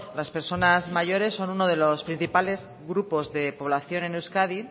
las personas mayores son uno de los principales grupos de población en euskadi